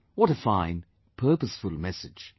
What a fine, purposeful message